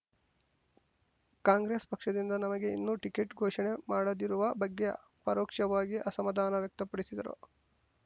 ಕಾಂಗ್ರೆಸ್ ಪಕ್ಷದಿಂದ ನಮಗೆ ಇನ್ನು ಟಿಕೆಟ್ ಘೋಷಣೆ ಮಾಡದಿರುವ ಬಗ್ಗೆ ಪರೋಕ್ಷವಾಗಿ ಅಸಮಾಧಾನ ವ್ಯಕ್ತಪಡಿಸಿದರು